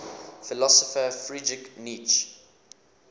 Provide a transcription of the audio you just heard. philosopher friedrich nietzsche